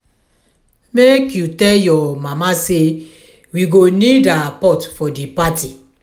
make you tell your mama say we go need her pot for di party.